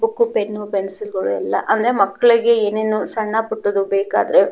book pen pencil ಎಲ್ಲ ಆದ್ರೆ ಮಕ್ಕಳಿಗೆ ಎಂಎನೂ ಸಣ್ಣ ಪುಟ್ಟ ದು ಬೇಕಾದ್ರೆ --